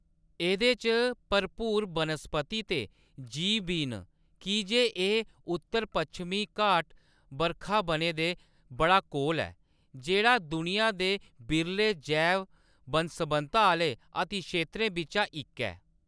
एह्‌‌‌दे च भरपूर बनस्पति ते जीव बी न की जे एह्‌‌ उत्तर पच्छमी घाट बरखा बनें दे बड़ा कोल ऐ, जेह्‌‌ड़ा दुनिया दे बिरले जैव बन्न सबन्नता आह्‌‌‌ले अतिक्षेत्रें बिच्चा इक ऐ।